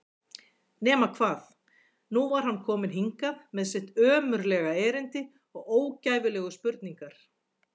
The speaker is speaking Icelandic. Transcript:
Nema hvað, nú var hann kominn hingað með sitt ömurlega erindi og ógæfulegu spurningar.